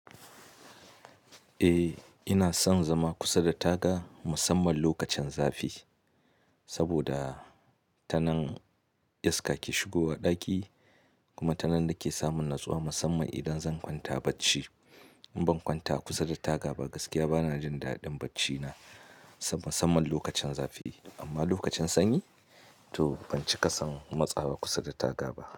Eh ina son zama kusa da taga musamman lokacin zafi, saboda tanan iska ke shigowa ɗaki kuma tanan nake samun natsuwa musamman idan zan kwanta bacci. In ban kwanta kusa da taga ba gaskiya bana jin daɗin bacci na musamman lokacin zafi. Amma lokacin sanyi to ban cika son matsawa kusa da taga ba.